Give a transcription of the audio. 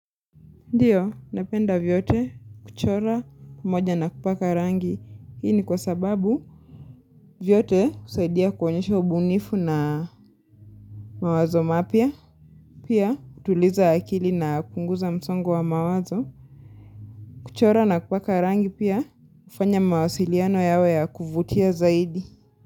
Ndio, napenda vyote, kuchora, moja na kupaka rangi. Hii ni kwa sababu vyote husaidia kuonyesha ubunifu na mawazo mapya. Pia, kutuliza akili na kupunguza msongo wa mawazo. Kuchora na kupaka rangi pia, hufanya mawasiliano yawe ya kuvutia zaidi.